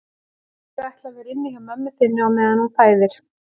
Ég ætla að vera hjá mömmu þinni á meðan hún fæðir